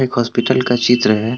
एक हॉस्पिटल का चित्र है।